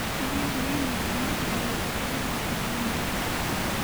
Sidee dareemeysaa markaad dhageysato heesta noni?